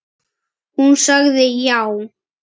Hún sagði já.